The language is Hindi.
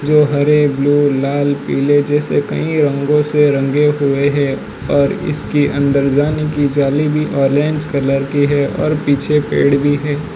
जो हरे ब्लू लाल पीले जैसे कई रंगों से रंगे हुए है और इसके अंदर जाने की जाली भी ऑरेंज कलर की है और पीछे पेड़ भी हैं।